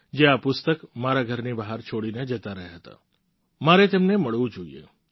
જે આ પુસ્તક મારા ઘરની બહાર છોડીને જતા રહ્યા હતા મારે તેમને મળવું જોઈએ